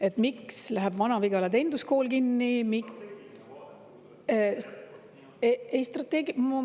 Et miks läheb Vana-Vigala teeninduskool kinni?